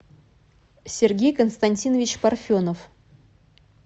сергей константинович парфенов